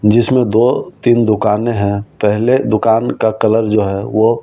जिसमें दो तीन दुकानें हैं पहले दुकान का कलर जो है वो--